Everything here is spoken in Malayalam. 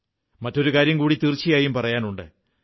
മറ്റൊരു കാര്യം കൂടി തീർച്ചയായും പറയാനുണ്ട്